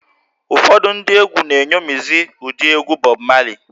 Ụfọdụ ndị egwú na-eṅomizi ụdị egwú Bọb Mali